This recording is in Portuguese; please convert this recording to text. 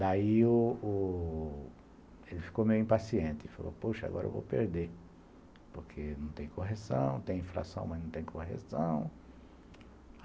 Daí, o o ele ficou meio impaciente, falou, poxa, agora eu vou perder, porque não tem correção, tem inflação, mas não tem correção.